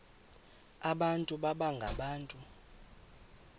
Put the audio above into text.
abantu baba ngabantu